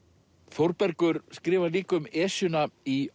Þórbergur skrifar líka um Esjuna í